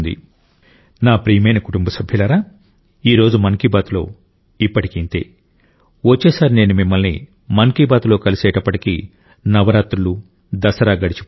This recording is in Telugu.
నా ప్రియమైన కుటుంబ సభ్యులారా ఈ రోజు మన్ కీ బాత్లో ఇప్పటికి ఇంతే వచ్చేసారి నేను మిమ్మల్ని మన్ కీ బాత్లో కలిసేటప్పటికి నవరాత్రులు దసరా గడిచిపోతాయి